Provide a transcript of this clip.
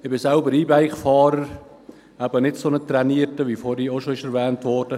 Ich bin selbst E-Bike-Fahrer, ein nicht so trainierter, wie zuvor bereits erwähnt wurde.